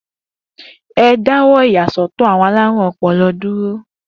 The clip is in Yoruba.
E dáwọ́ ìyàsọ́tọ̀ àwọn alarun-ọpọlọ dúró